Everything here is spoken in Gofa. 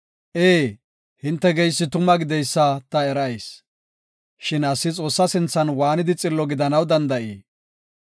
“Ee, hinte geysi tuma gideysa ta erayis; shin asi Xoossa sinthan waanidi xillo gidanaw danda7ii?